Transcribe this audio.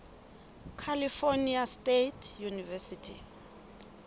california state university